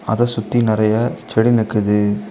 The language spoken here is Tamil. அத சுத்தி நறைய செடி நிக்குது.